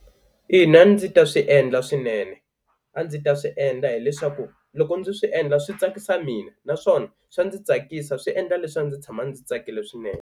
Ina a ndzi ta swi endla swinene a ndzi ta swi endla hileswaku loko ndzi swi endla swi tsakisa mina naswona swa ndzi tsakisa swi endla leswaku ndzi tshama ndzi tsakile swinene.